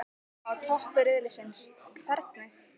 Á toppi riðilsins- hvernig?